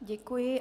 Děkuji.